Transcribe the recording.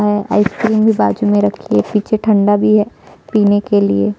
अ ice cream भी बाजु में रखी है पीछे ठंडा भी है पीने के लिए --